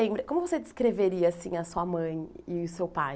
Como você descreveria assim a sua mãe e o seu pai?